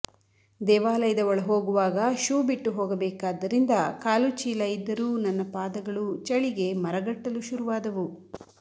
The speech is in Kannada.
ದೇವಾಲಯದ ಒಳ ಹೋಗುವಾಗ ಶೂ ಬಿಟ್ಟು ಹೋಗಬೇಕಾದ್ದರಿಂದ ಕಾಲು ಚೀಲ ಇದ್ದರೂ ನನ್ನ ಪಾದಗಳು ಚಳಿಗೆ ಮರಗಟ್ಟಲು ಶುರುವಾದವು